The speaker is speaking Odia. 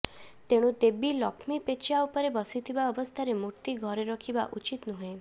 ତେଣୁ ଦେବୀ ଲକ୍ଷ୍ମୀ ପେଚା ଉପରେ ବସିଥିବା ଅବସ୍ଥାର ମୂର୍ତ୍ତି ଘରେ ରଖିବା ଉଚିତ୍ ନୁହେଁ